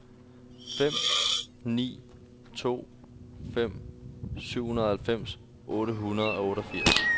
fem ni to fem syvoghalvfems otte hundrede og otteogfirs